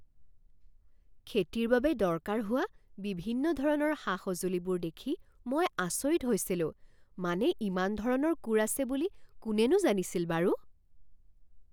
খেতিৰ বাবে দৰকাৰ হোৱা বিভিন্ন ধৰণৰ সা সঁজুলিবোৰ দেখি মই আচৰিত হৈছিলোঁ। মানে ইমান ধৰণৰ কোৰ আছে বুলি কোনেনো জানিছিল বাৰু?